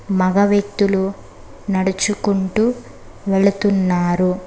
మగ వ్యక్తులు నడుచుకుంటూ వెళుతున్నారు.